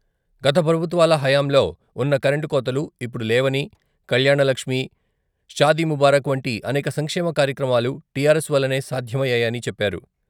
గత ప్రభుత్వాల హయాంలో ఉన్న కరెంటు కోతలు ఇప్పుడు లేవని, కళ్యాణలక్ష్మి, షాదీముబారక్ వంటి అనేక సంక్షేమ కార్యక్రమాలు టిఆర్ఎస్ వల్లనే సాధ్యమయ్యాయని చెప్పారు.